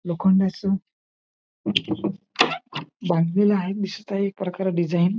लोखंडाच बांधलेलं आहे दिसतय एक प्रकारे डिझाईन .